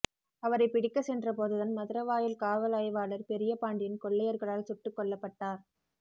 அவரைப் பிடிக்கச் சென்ற போதுதான் மதுரவாயல் காவல் ஆய்வாளர் பெரிய பாண்டியன் கொள்ளையர்களால் சுட்டுக் கொல்லப்பட்டார்